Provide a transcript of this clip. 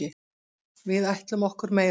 Við ætlum okkur meira.